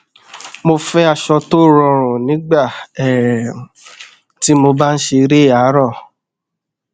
mo fẹ aṣọ tó rọrùn nígbà um tí mo bá n ṣe eré àárọ